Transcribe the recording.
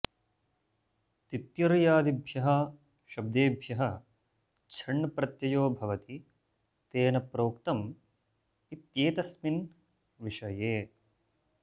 तित्तिर्यादिभ्यः शब्देभ्यः छण् प्रत्ययो भवति तेन प्रोक्तम् इत्येतस्मिन् विषये